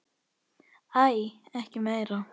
Æi, ekki meira!